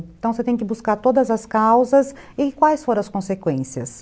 Então você tem que buscar todas as causas e quais foram as consequências.